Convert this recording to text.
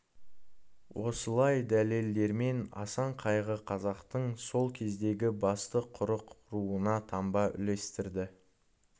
осылай дәлелдермен асан қайғы қазақтың сол кездегі басты қырық руына таңба үлестірді